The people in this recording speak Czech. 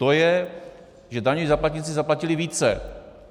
To je, že daňoví poplatníci zaplatili více.